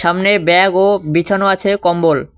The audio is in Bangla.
সামনে ব্যাগ ও বিছানো আছে কম্বল।